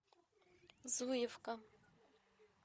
зуевка